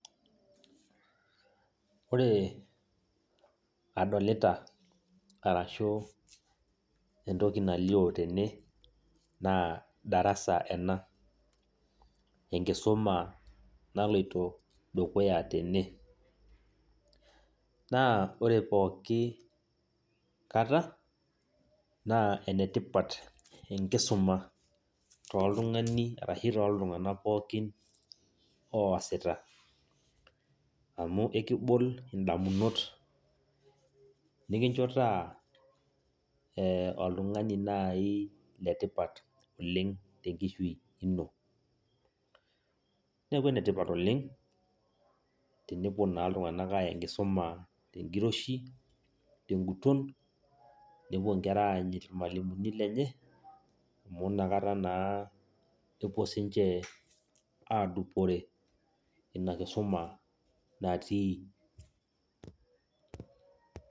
Ore adolita arashu entoki nalio tene, naa darasa ena. Enkisuma naloito dukuya tene. Naa pooki kata, naa enetipat enkisuma toltung'ani arashu toltung'anak pookin oasita. Amu ekibol indamunot, nikincho taa, oltung'ani nai letipat oleng tenkishui ino. Neeku enetipat oleng, tenepuo naa iltung'anak aya enkisuma tenkiroshi, teguton, nepuo nkera aanyit irmalimuni lenye, amu nakata naa epuo sinche adupore ina kisuma natii.